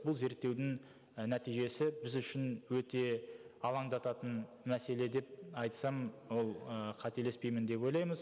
бұл зерттеудің і нәтижесі біз үшін өте алаңдататын мәселе деп айтсам ол ы қателеспеймін деп ойлаймыз